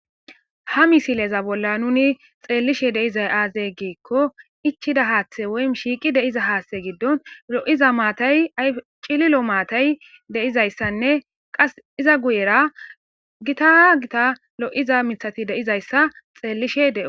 ha misileza bolla nuni xeellishe de7izay aazee giikko ichida haaththe woy shiiqi de7iza haaththe giddon lo7iza maatay cililo maatay de7izayssanne qas iza guyera gita gita lo7iza mithati de7izayssa xeellishe de7os